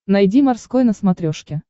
найди морской на смотрешке